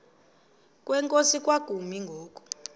kwenkosi kwakumi ngoku